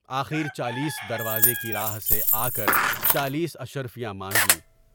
آخر چالیس درازے کی راہ سے آکر چالیس اشرفیاں مانگیں۔